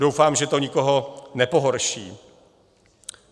Doufám, že to nikoho nepohorší.